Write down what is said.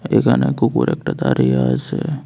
এখানে কুকুর একটা দাঁড়িয়ে আছে।